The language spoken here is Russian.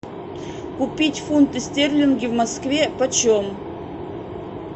купить фунты стерлинги в москве по чем